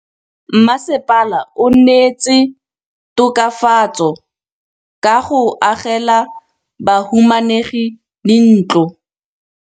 Mmasepala o neetse tokafatsô ka go agela bahumanegi dintlo.